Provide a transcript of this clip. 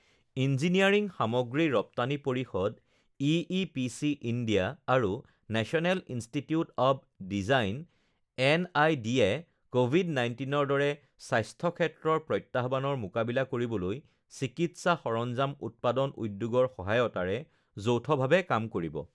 engineering সামগ্ৰী ৰপ্তানি পৰিষদ ইইপিচি ইণ্ডিয়া আৰু নেশ্যনেল ইন্সটিটিউট অৱ ডিজাইন এনআইডিয়ে কভিড ১৯ ৰ দৰে স্বাস্থ্যক্ষেত্ৰৰ প্ৰত্যাহ্বানৰ মোকাবিলা কৰিবলৈ চিকিৎসা সৰঞ্জাম উৎপাদন উদ্যোগৰ সহায়তাৰে যৌথভাৱে কাম কৰিব